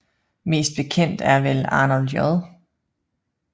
Mest bekendt er vel Arnold J